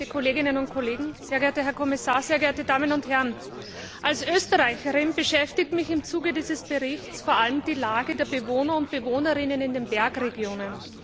Sehr geehrte Kolleginnen und Kollegen, sehr geehrter Herr Kommissar, sehr geehrte Damen und Herren! Als Österreicherin beschäftigt mich im Zuge dieses Berichts vor allem die Lage der Bewohner und Bewohnerinnen der Bergregionen.